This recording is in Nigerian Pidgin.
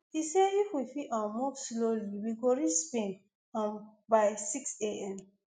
e say if we fi um move slowly we go reach spain um by six am